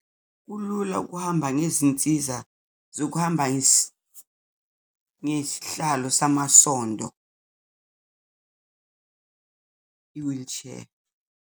Kulula ukuhamba ngezinsiza zokuhamba ngesihlalo samasondo, i-wheelchair.